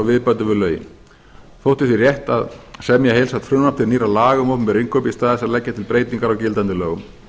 viðbætur við lögin þótti því rétt að semja heildstætt frumvarp til nýrra laga um opinber innkaup í stað að leggja til breytingar á gildandi lögum